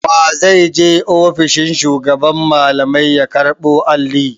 Wa zai je ofishin shugaban malamai ya karɓo Alli?